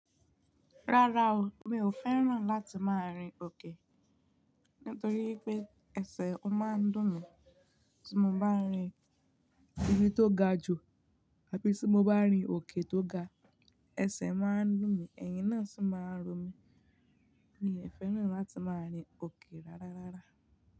Rárá o, mi ò fẹ́ràn láti máa rin òkè nítorí pé ẹsẹ̀ o máa ń dùn mí tí mo bá rin ibi tó ga jù àbí tí mo bá rin òkè tó ga. Ẹsẹ̀ máa ń dùn mí, ẹ̀yìn náà sì máa ń ro mi. Mi ò fẹ́ràn láti máa rin òkè rárá, rárá.